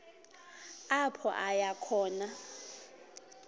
apho aya khona